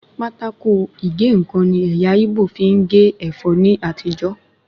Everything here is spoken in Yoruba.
Pátákó ìgé-ǹkan ni ẹ̀yà íbò fi ń gé ẹ̀fọ́ ní àtijó